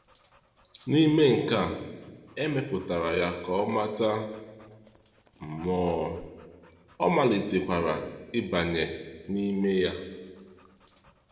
N’ime nke a, e mepụtara ya ka ọ mata mmụọ, ọ malitekwara ịbanye n’ime ya.